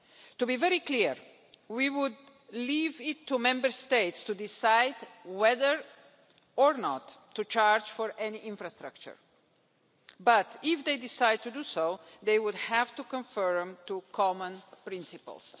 To be very clear, we would leave it to Member States to decide whether or not to charge for any infrastructure, but if they decide to do so, they would have to conform to common principles.